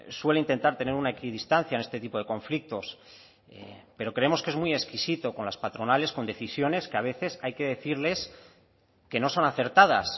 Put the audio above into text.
suele intentar tener una equidistancia en este tipo de conflictos pero creemos que es muy exquisito con las patronales con decisiones que a veces hay que decirles que no son acertadas